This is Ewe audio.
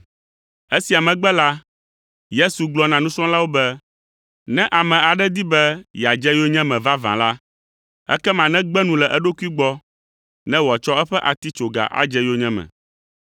Esia megbe la, Yesu gblɔ na nusrɔ̃lawo be, “Ne ame aɖe di be yeadze yonyeme vavã la, ekema negbe nu le eɖokui gbɔ ne wòatsɔ eƒe atitsoga adze yonyeme,